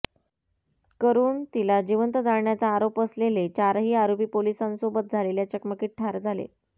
करून तिला जिवंत जाळण्याचा आरोप असलेले चारही आरोपी पोलिसांसोबत झालेल्या चकमकीत ठार झाले